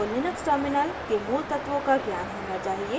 आपको Linux terminal के मूलतत्वों का ज्ञान होना चाहिए